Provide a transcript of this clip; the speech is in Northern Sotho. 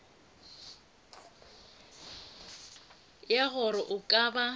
ya gore a ka ba